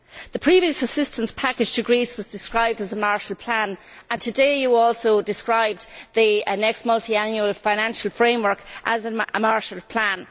The previous assistance package to Greece was described as a Marshall Plan and today you also described the next multiannual financial framework as a Marshall Plan.